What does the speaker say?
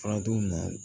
Farajugu na